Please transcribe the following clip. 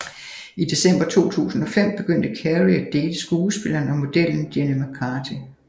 I december 2005 begyndte Carrey at date skuespilleren og modellen Jenny McCarthy